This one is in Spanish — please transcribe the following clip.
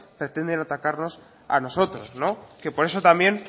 pretenden atacarnos a nosotros que por eso también